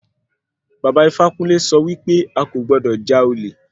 Bàba Ifákúnle sọ wí pé a kò gbọdọ̀ já olè.